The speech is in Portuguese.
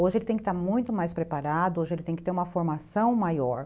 Hoje ele tem que estar muito mais preparado, hoje ele tem que ter uma formação maior.